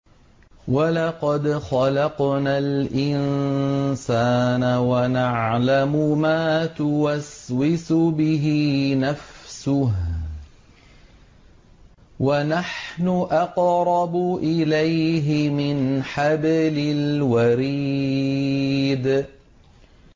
وَلَقَدْ خَلَقْنَا الْإِنسَانَ وَنَعْلَمُ مَا تُوَسْوِسُ بِهِ نَفْسُهُ ۖ وَنَحْنُ أَقْرَبُ إِلَيْهِ مِنْ حَبْلِ الْوَرِيدِ